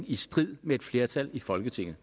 i strid med et flertal i folketinget